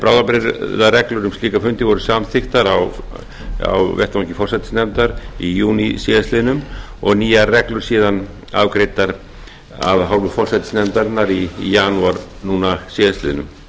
bráðabirgðareglur um slíka fundi voru samþykktar á vettvangi forsætisnefndar í júní síðastliðinn og nýjar reglur síðan afgreiddar af hálfu forsætisnefndarinnar í janúar núna síðastliðinn